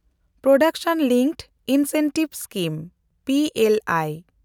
production linked incentive scheme (P L I)